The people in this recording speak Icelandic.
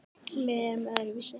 Við erum öðruvísi